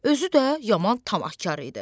Özü də yaman tamahkar idi.